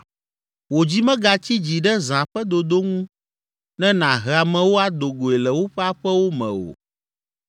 Wò dzi megatsi dzi ɖe zã ƒe dodo ŋu ne nàhe amewo ado goe le woƒe aƒewo me o.